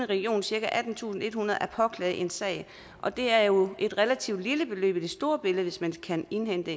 region cirka attentusinde og ethundrede kroner at påklage en sag og det er jo et relativt lille beløb i det store billede hvis man kan indhente